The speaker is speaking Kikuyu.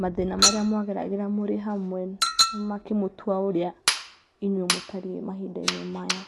mathĩna marĩa mwageragĩra mũrĩ hamwe makĩ mũtua ũrĩa inyuiĩ mũtariĩ mahinda inĩ maya.